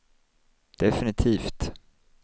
definitivt